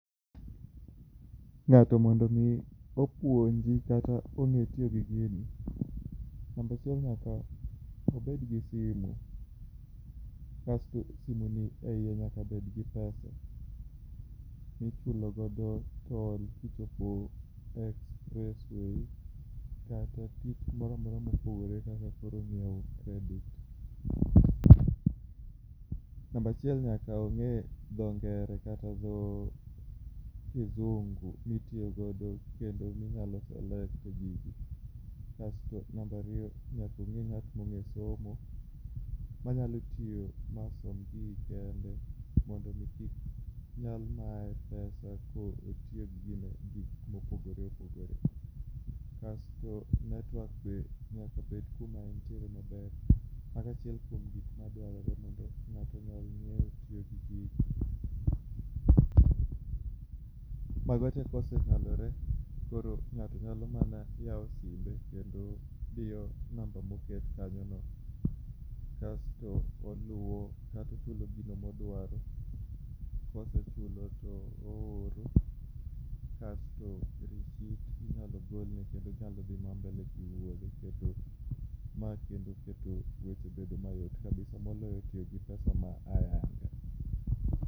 Ng'ato mondo mi opuonji kata ong'e itiyo gi gini, namba achiel nyaka obed gi simu, simu ni eiye nyaka bed gi pesa michulogo tol kata gimoro amora mopogore kaka koro ng'iewo credit. Namba achiel nyaka ong'e dho ngere, kata dho kisungu mitiyo godo kendo minyalo selects go gigi kasto namba ariyo, nyaka obed ng'at mong'eyo somo manyalo tiyo masom gigi kende mondo mi kik nyal maye kata kotiyo gi gik mopogore opogore. Kasto netwoek bende nyaka bed kuma entiere maber, kaka achiel kuom gik madwarore mondo ng'ato onyal tiyo gi gigi. Mago tee konyalore to ng'ato nyalo mana yawo simbe, kendo odiyo namba moket kanyono to oluwo kata ochulo gino ma odwaro, ka osechulo to ooro kaeto risit inyalo golne kendo onyalo mana dhi mbele gi wuodhe. Ma kendo keto weche bedo mayot kabisa] moloyo tiyo gi pesa ma ayanga.